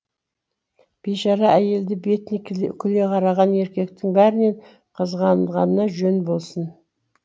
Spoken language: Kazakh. бишара әйелді бетіне күле қараған еркектің бәрінен қызғанғаныңа жөн болсын